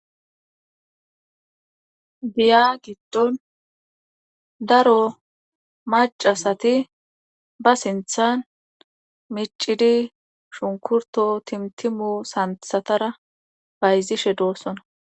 Diya giddon daro macasati ba sinthan micidi shunkurto timtimu santhatara bayzishe doossona.